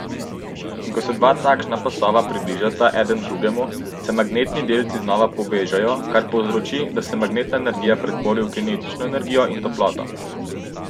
In ko se dva takšna pasova približata eden drugemu, se magnetni delci znova povežejo, kar povzroči, da se magnetna energija pretvori v kinetično energijo in toploto.